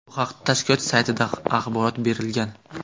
Bu haqda tashkilot saytida axborot berilgan .